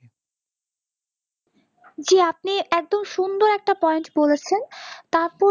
জি আপনি একদম সুন্দর একটা point বলেছেন